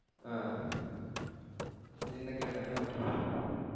ஆஹ் என்ன கேட்டாங்கன்னு அப்ரோ